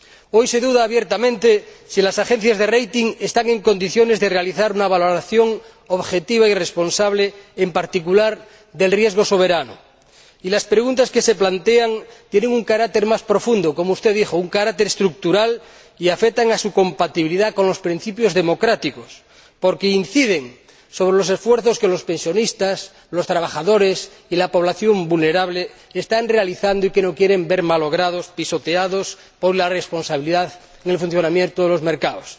Hoy se duda abiertamente si las agencias de calificación están en condiciones de realizar una valoración objetiva y responsable, en particular, del riesgo soberano, y las preguntas que se plantean tienen un carácter más profundo —como usted dijo, un carácter estructural— y afectan a su compatibilidad con los principios democráticos, porque inciden en los esfuerzos que los pensionistas, los trabajadores y la población vulnerable están realizando y que no quieren ver malogrados y pisoteados por la irresponsabilidad en el funcionamiento de los mercados.